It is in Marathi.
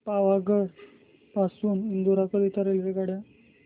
पावागढ पासून इंदोर करीता रेल्वेगाड्या